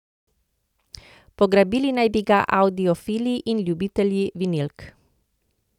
Pograbili naj bi ga audiofili in ljubitelji vinilk.